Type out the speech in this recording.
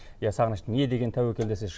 иә сағыныш не деген тәуекел десеңші